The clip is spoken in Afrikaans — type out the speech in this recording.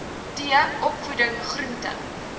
t opvoeding groente